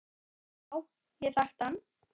Já, ég þekkti hann.